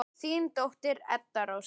Þín dóttir, Edda Rósa.